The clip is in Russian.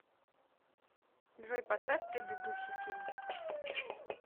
джой поставь предыдущий фильм